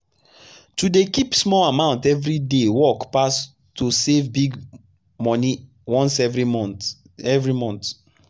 to dey keep small amount every day work pass to save big money once every month. every month.